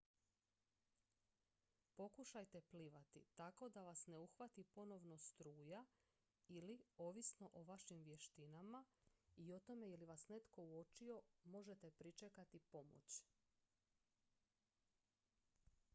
pokušajte plivati tako da vas ne uhvati ponovno struja ili ovisno o vašim vještinama i o tome je li vas netko uočio možete pričekati pomoć